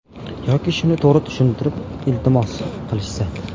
Yoki shuni to‘g‘ri tushuntirib iltimos qilishsa.